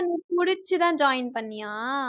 புடிச்சுதான் join பண்ணியா